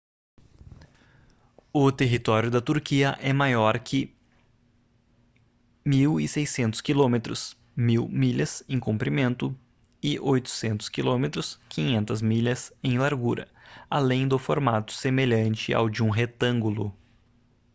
o território da turquia é maior que 1.600 quilômetros 1.000 milhas em comprimento e 800 km 500 milhas em largura além do formato semelhante ao de um retângulo